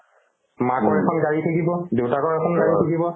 মাকৰ এখন গাড়ী থাকিব দেউতাকৰ এখন গাড়ী থাকিব